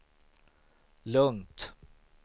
lugnt